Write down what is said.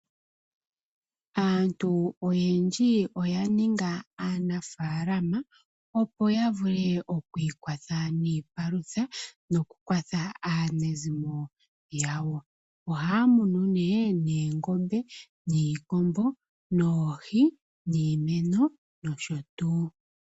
Aantu oyendji oya ninga aanafaalama, opo ya vule okwikwatha niipalutha, moku kwatha aanezimo yawo. Ohaa munu nee, oongombe, iikombo, oohi, iimeno nosho tuu